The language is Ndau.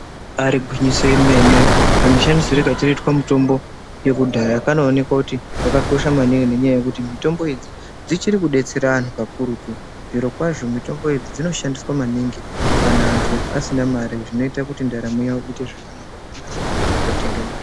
Ibari gwinyiso remene kamushandisirwe kachirikuitwe mutombo yekudhaya kanooneka kuti yakakosha maningi ngenyaya yekuti mitombo idzi dzichiri kudetsera anthu kakurutu. Zvirokwazvo mitombo idzi dzinoshandiswa maningi kana anthu asina mare zvinoita kuti ndaramo yawo iite zvakanaka asina mare yekootenga mitombo.